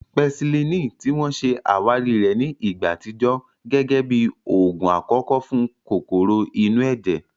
Pẹsilínìì, ti wọ́n ṣe àwárí rẹ̀ ní ìgbà àtijọ́, gẹ́gẹ́ bí oògùn àkọ́kọ́ fún kòkòrò inú ẹ̀jẹ̀